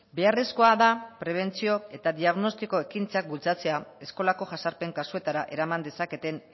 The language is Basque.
beharrezkoa da prebentzio eta diagnostiko ekintzak bultzatzea eskolako jazarpen kasuetara eraman dezaketen